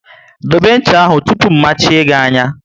Dobe ncha ahụ tụpụ mmachie gị anya!